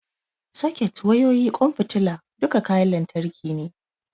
Soket, wayoyi, ƙwan fitila, duka kayan lantarki ne.